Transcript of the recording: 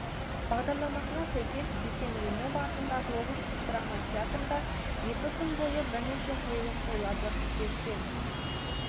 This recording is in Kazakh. бағдарламасына сәйкес бикен римова атындағы облыстық драма театрда екі күн бойы бірнеше қойылым қойылады қыркүйектен